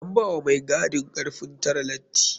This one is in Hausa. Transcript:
An bawa mai gadin karfin tare lati.